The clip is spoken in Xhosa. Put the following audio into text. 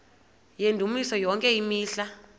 yendumiso yonke imihla